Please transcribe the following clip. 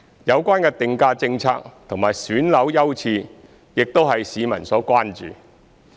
有關的定價政策和選樓優次亦為市民所關注。